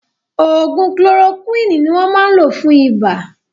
Ògùn kolorokúwìnì ni wọ́n máa ń lò fún ibà